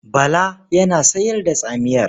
Bala yana sayar da tsamiyar.